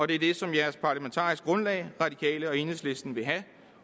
det er det som deres parlamentariske grundlag radikale og enhedslisten vil have